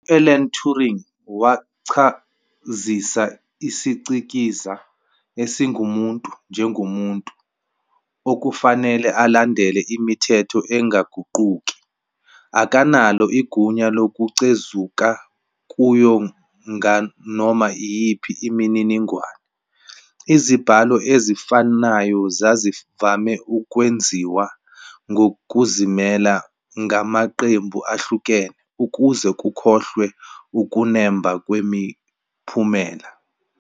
U-Alan Turing wachazisa "isiCikizi esingumuntu" njengomuntu "okufanele alandele imithetho engaguquki, akanalo igunya lokuchezuka kuyo nganoma iyiphi imininingwane". Izibalo ezifanayo zazivame ukwenziwa ngokuzimela ngamaqembu ahlukene ukuze kuhlolwe ukunemba kwemiphumela.